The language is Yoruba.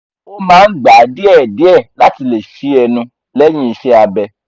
o maa n gba diẹ diẹ lati le ṣi ẹnu lẹhin iṣẹ-abẹ